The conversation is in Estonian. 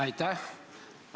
Aitäh!